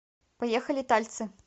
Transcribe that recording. поехали тальцы